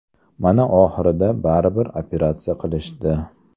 Mana oxirida baribir operatsiya qilishdi.